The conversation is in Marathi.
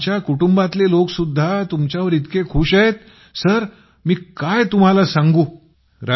आणि आमच्या कुटुंबातले लोक सुद्धा तुमच्यावर इतके खुश आहेत की तुम्हाला काय सांगू